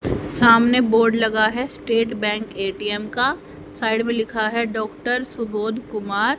सामने बोर्ड लगा है स्टेट बैंक ए_टी_एम का साइड मे लिखा है डॉक्टर सुबोध कुमार।